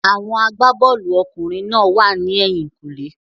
Àwọn agbá-bọ́ọ̀lù ọkùnrin náà wà ní ẹ̀yìn-kùlé.